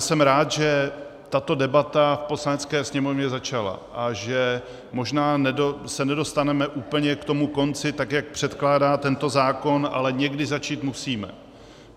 Jsem rád, že tato debata v Poslanecké sněmovně začala a že se možná nedostaneme úplně k tomu konci, tak jak předkládá tento zákon, ale někdy začít musíme.